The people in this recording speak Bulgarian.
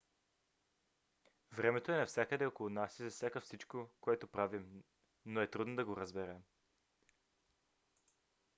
времето е навсякъде около нас и засяга всичко което правим но е трудно да го разберем